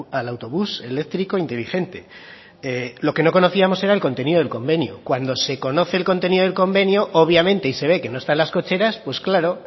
al autobús eléctrico inteligente lo que no conocíamos era el contenido del convenio cuando se conoce el contenido del convenio obviamente y se ve que no están las cocheras pues claro